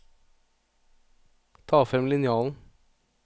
Ta frem linjalen